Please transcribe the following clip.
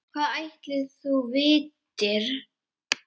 Hvað ætli þú vitir?